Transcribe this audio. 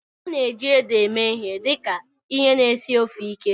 A na-eji ede eme ihe dị ka ihe na-esi ofe ike.